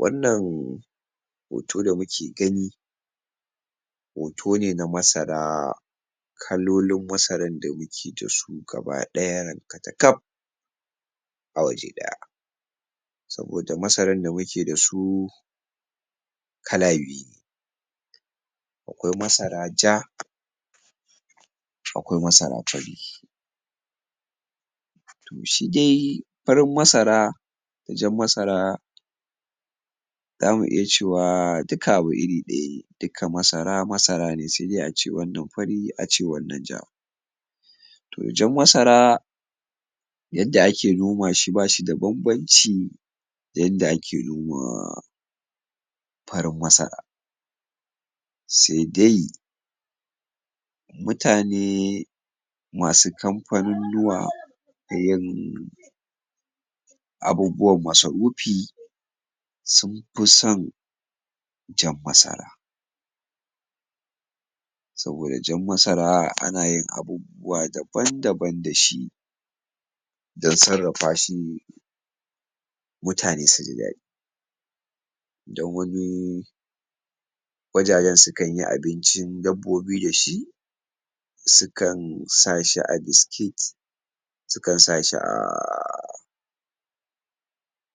Wannan hoto da muke gani hoto ne na masara kalolin masarar da muke da su gaba ɗaya rankatakaf a waje ɗaya saboda masarar da muke da su kala biyu ne akwai masara ja akwai masara fari to shi dai farin masara da jar masara zamu iya cewa duka abu iri ɗaya ne duka masara, masara ne sai dai ace wannan fari ace wannan ja to jan masara yadda ake noma shi bashi da banbanci da yanda ake noma farin masara sai dai mutane masu kamfanunnuwa da yin abubuwan masarufi sun fi son jan masara saboda jan masara ana yin abubuwa daban daban dashi don sarrafa shi mutane su ji dadi don wani wajajen sukan yi abincin dabbobi da shi sukan sa shi a biscuit sukan sa shi a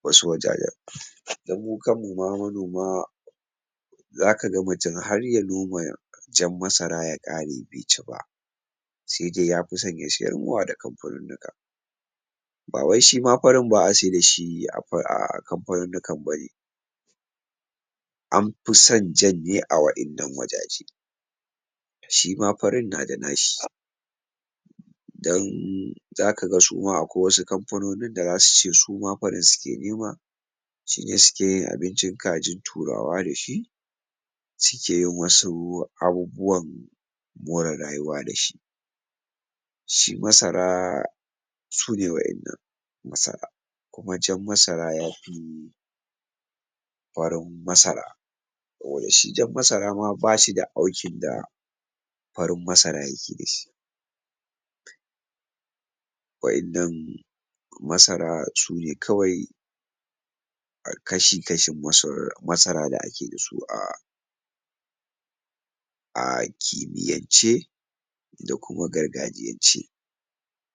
wasu wajajen don mu kan mu ma manoma za ka ga mutum har ya noma jan masara ya ƙare bai ci ba sai dai yafi son ya sayarmawa da kanfanunnuka ba wai shima farin ba a saida shi a um a kamfanunnukan bane an fi son jan ne a wa'innan wajaje shima farin na da nashi don za ka ga suma akwai wasu kamfanonin da za su ce suma farin suke nema shine suke yin abincin kajin turawa dashi suke yin wasu abubuwan more rayuwa dashi shi masara sune wa'innan masara kuma jan masara yafi farin masara ko da shi jan masara ma bashi da aukin da farin masara yake dashi wa'innan masara su ne kawai kashi-kashin masara da ake da su um a kimiyance da kuma gargajiyance.